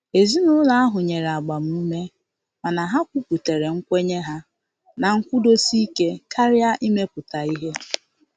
Ezinụlọ ahụ nyere agbamume mana ha kwuputara nkwenye ha na nkwụdosike karịa imepụta ihe.